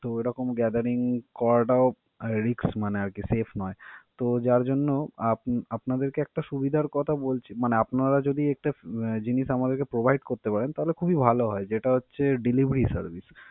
তো ওইরকম gathering করাটাও risk, মানে আর কি safe নয়. তো যার জন্য আপ~ আপনাদের একটা সুবিধার কথা বল~ মানে আপনারা যদি একটা উম জিনিস আমাদেরকে provide করতে পারেন, তাহলে খুবই ভালো হয়. যেটা হচ্ছে, delivery service ।